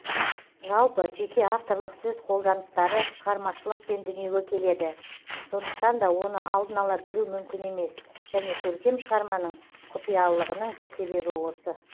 жалпы жеке авторлық сөз қолданыстары шығармашылықпен дүниеге келеді сондықтан да оны алдын ала білу мүмкін емес және көркем шығарманың құпиялылығының бір себебі осы